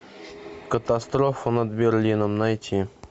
катастрофа над берлином найти